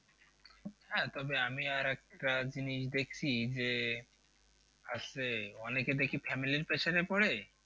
হ্যাঁ তবে আমি আর একটা জিনিস দেখছি যে আছে অনেকে দেখি family র পেছনে পরে